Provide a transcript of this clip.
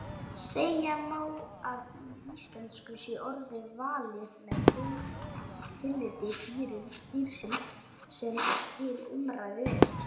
Segja má að í íslensku sé orðið valið með tilliti dýrsins sem til umræðu er.